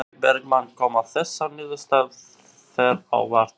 Logi Bergmann: Koma þessar niðurstöður þér á óvart?